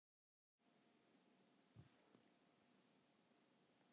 Nú er hún búin að átta sig á því að mikið skortir á menntun hennar.